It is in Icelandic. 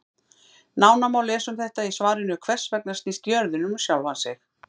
Nánar má lesa um þetta í svarinu Hvers vegna snýst jörðin um sjálfa sig?